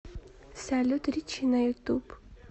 салют риччи на ютуб